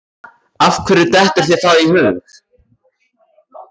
Af hverju dettur þér það í hug?